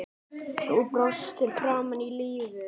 Þú brostir framan í lífið.